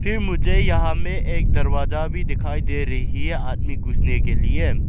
फिर मुझे यहां में एक दरवाजा भी दिखाई दे रही है आदमी घुसने के लिए --